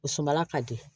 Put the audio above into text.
O sumala ka di